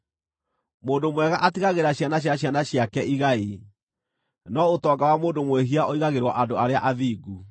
Mũndũ mwega atigagĩra ciana cia ciana ciake igai, no ũtonga wa mũndũ mwĩhia ũigagĩrwo andũ arĩa athingu.